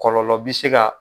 Kɔlɔlɔ bi se